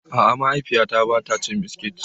A'a, mahaifiyata ba ta cin biskit.